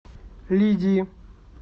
лидии